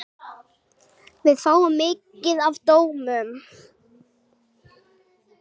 Við fáum mikið af dómum.